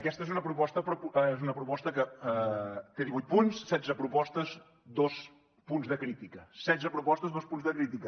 aquesta és una proposta que té divuits punts setze propostes dos punts de crítica setze propostes dos punts de crítica